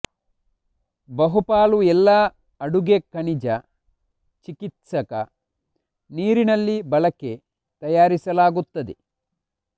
ಬಹುಪಾಲು ಎಲ್ಲಾ ಅಡುಗೆ ಖನಿಜ ಚಿಕಿತ್ಸಕ ನೀರಿನಲ್ಲಿ ಬಳಕೆ ತಯಾರಿಸಲಾಗುತ್ತದೆ